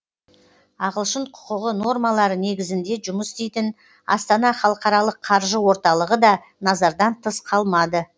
ағылшын құқығы нормалары негізінде жұмыс істейтін астана халықаралық қаржы орталығы да назардан тыс қалмады